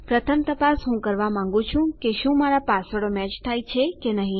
પ્રથમ તપાસ હું આ કરવા માંગું છું કે શું મારા પાસવર્ડો મેચ થાય છે કે નહી